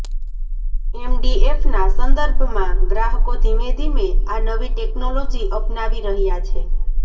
એમડીએફના સંદર્ભમાં ગ્રાહકો ધીમે ધીમે આ નવી ટેક્નોલોજી અપનાવી રહ્યા છે